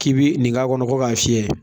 K'i bi nin k'a kɔnɔ ko k'a fiyɛ